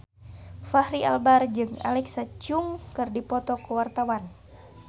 Fachri Albar jeung Alexa Chung keur dipoto ku wartawan